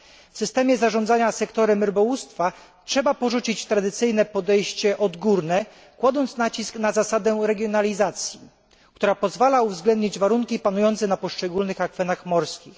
W systemie zarządzania sektorem rybołówstwa należy porzucić tradycyjne podejście odgórne, kładąc nacisk na zasadę regionalizacji, która pozwala uwzględnić warunki panujące na poszczególnych akwenach morskich.